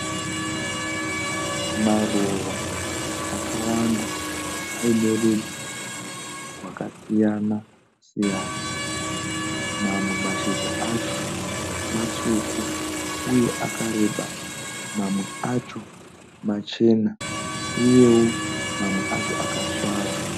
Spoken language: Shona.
Maruva akawanda aine rudzi rwakasiyana siyana. Mamwe mashizha acho matsvuku uye akareba. Mamwe acho machena uyewo mamwe acho akasvava.